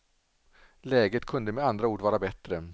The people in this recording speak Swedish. Läget kunde med andra ord vara bättre.